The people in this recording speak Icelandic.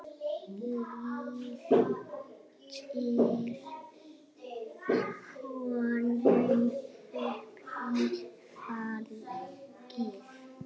Lyftir honum upp í fangið.